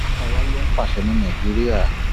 ta wàá lọ ń pàṣẹ ní nàìjíríà